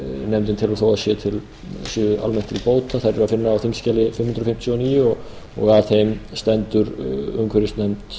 nefndin telur þó að séu almennt til bóta er að finna á þingskjali fimm hundruð fimmtíu og níu og að þeim stendur umhverfisnefnd